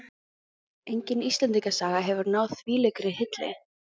Engin Íslendingasaga hefur náð þvílíkri hylli.